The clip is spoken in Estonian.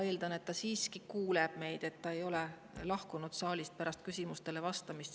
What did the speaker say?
Ma eeldan, et ta siiski kuuleb meid ja ei ole lahkunud saalist pärast küsimustele vastamist.